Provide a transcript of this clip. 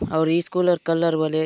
आउर स्कूलर कलर वले --